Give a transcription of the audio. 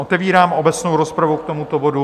Otevírám obecnou rozpravu k tomuto bodu.